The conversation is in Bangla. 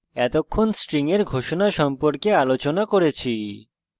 এতক্ষণ আমরা string এর ঘোষণা সম্পর্কে আলোচনা করেছি